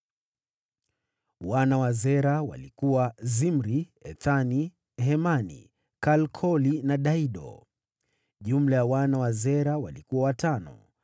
Wana wa Zera walikuwa: Zimri, Ethani, Hemani, Kalkoli na Dara. Jumla ya wana wa Zera walikuwa watano.